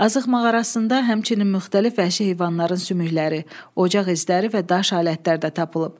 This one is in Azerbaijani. Azıq mağarasında həmçinin müxtəlif vəhşi heyvanların sümükləri, ocaq izləri və daş alətlər də tapılıb.